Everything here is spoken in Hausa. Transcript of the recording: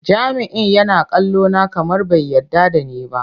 Jami'in yana kallona kamar bai yarda da ni ba.